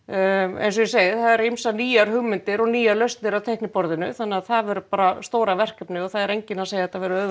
eins og ég segi það eru ýmsar nýjar hugmyndir og nýjar lausnir á teikniborðinu þannig að það verður bara stóra verkefnið og það er enginn að segja að þetta verði auðvelt